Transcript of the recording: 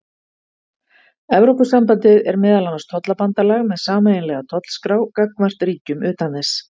evrópusambandið er meðal annars tollabandalag með sameiginlega tollskrá gagnvart ríkjum utan þess